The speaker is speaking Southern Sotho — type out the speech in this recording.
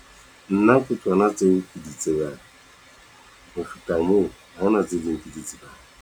Nna ke tsona tseo ke di tsebang ho feta moo, ha hona tse ding ke di tsebang.